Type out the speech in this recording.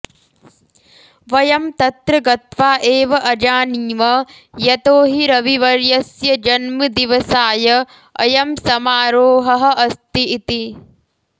वयं तत्र गत्वा एव अजानीम यतो हि रविवर्यस्य जन्मदिवसाय अयं समारोहः अस्ति इति